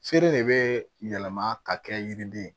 Feere de bɛ yɛlɛma ka kɛ yiriden ye